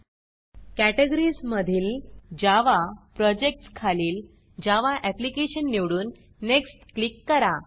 Categoriesकेटेगरीस मधील Javaजावा Projectsप्रॉजेक्ट्स खालील जावा एप्लिकेशन जावा अप्लिकेशन निवडून नेक्स्ट नेक्स्ट क्लिक करा